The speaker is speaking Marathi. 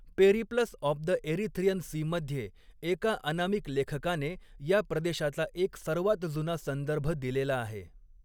Periplus of the Erythraean Sea मध्ये एका अनामिक लेखकाने या प्रदेशाचा एक सर्वात जुना संदर्भ दिलेला आहे.